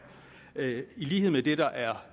i lighed med det der er